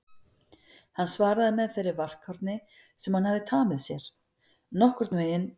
Hann svaraði með þeirri varkárni sem hann hafði tamið sér: Nokkurn veginn